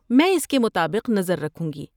میں اس کے مطابق نظر رکھوں گی۔